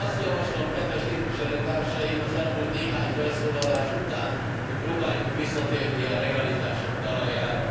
Azt javaslom kedves képviselőtársaim az elmúlt néhány felszólalás után, hogy próbáljunk visszatérni a realitások talajára.